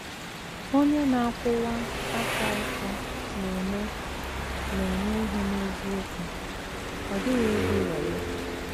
Onye na - akwụwa aka ọtọ na - eme na - eme ihe n’eziokwu, ọ dịghịkwa egwu wayo.